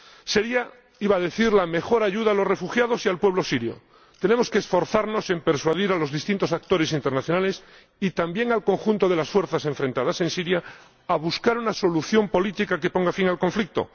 sería —iba a decir— la mejor ayuda a los refugiados y al pueblo sirio. Tenemos que esforzarnos en persuadir a los distintos actores internacionales y también al conjunto de las fuerzas enfrentadas en Siria a buscar una solución política que ponga fin al conflicto